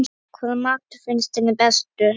Hvaða matur finnst henni bestur?